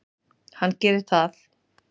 Hann gerir það.